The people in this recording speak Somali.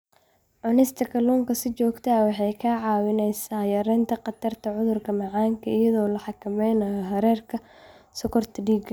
Cunista kalluunka si joogto ah waxay kaa caawinaysaa yaraynta khatarta cudurka macaanka iyadoo la xakameynayo heerarka sonkorta dhiigga.